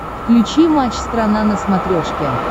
включи матч страна на смотрешке